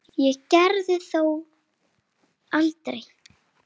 Ég gerði það þó aldrei.